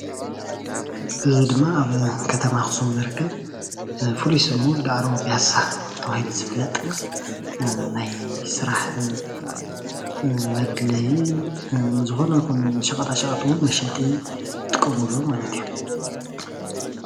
እዚ ድማ ኣብ ከተማ ኣክሱም ዝርከብ ፍሉይ ስሙ ዳዕሮ ቢያሳ ተባሂሉ ዝፍለጥ፡፡ ናይ ስራሕ መድለይ ዝኮነ ይኩን ሻቀጣ ሸቀጥ እውን መሸጢ እንጠቀመሉ ማለት እዩ፡፡